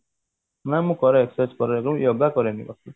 ନାଇଁ ମୁଁ କରେ exercise କରେ ଆଗୁରୁ yoga କରେନି ବାକି